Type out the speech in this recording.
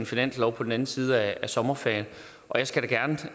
finanslov på den anden side af sommerferien og jeg skal da gerne tage